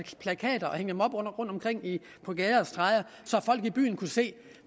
plakater rundtomkring på gader og stræder så folk i byen kunne se